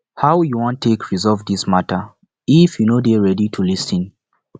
how you wan take resolve dis mata if you no dey ready to lis ten